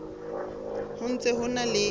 ho ntse ho na le